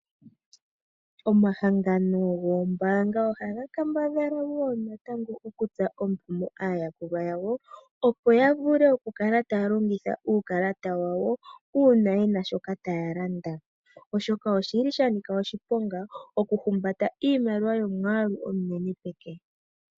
Omahangano goombaanga ohaga kambadhala okutsa omukumo aayakulwa yawo, opo ya vule oku kala taya longitha uukalata wawo uuna yena shoka taya landa, oshoka oshili sha nika oshiponga oku humbata iimaliwa yomwaalu omunene peke.